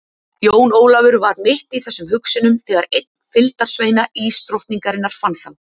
Jón Ólafur var mitt í þessum hugsunum þegar einn fylgdarsveina ísdrottningarinar fann þá.